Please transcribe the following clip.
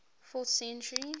fourth century